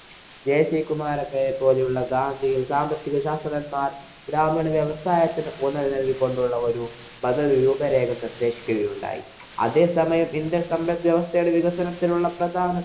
JC കുമാരപ്പയെ പോലെയുള്ള ഗാന്ധിയന്‍ സാമ്പത്തിക ശാസ്ത്രഞ്ജന്മാര്‍ ഗ്രാമീണ വ്യവസായത്തിനു ഊന്നല്‍ നല്‍കി കൊണ്ടുള്ള ഒരു പദ്ധതി രൂപ രേഖ സൃഷ്ടിക്കുകയുണ്ടായി. അതേസമയം ഇന്‍ഡ്യന്‍ സമ്പദ് വ്യവസ്ഥയില്‍ വികസനത്തിനുള്ള പ്രധാന